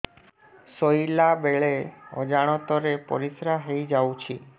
ଶୋଇଲା ବେଳେ ଅଜାଣତ ରେ ପରିସ୍ରା ହେଇଯାଉଛି